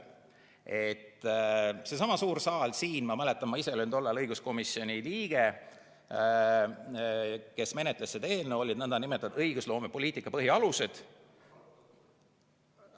Sellessamas suures saalis siin – ma mäletan, ma ise olin tol ajal õiguskomisjoni liige, kes menetles seda eelnõu – olid õigusloomepoliitika põhialused.